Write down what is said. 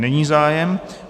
Není zájem.